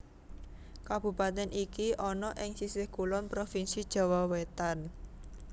Kabupatèn iki ana ing sisih kulon provinsi Jawa Wétan